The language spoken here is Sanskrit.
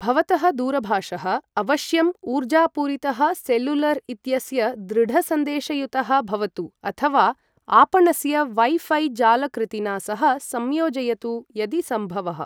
भवतः दूरभाषः अवश्यम् ऊर्जापूरितः सेलुलर इत्यस्य दृढसन्देशयुतः भवतु अथवा आपणस्य वै ऴै जालकृतिना सह संयोजयतु यदि सम्भवः।